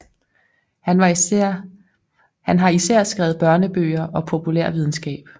Han har især skrevet børnebøger og populærvidenskab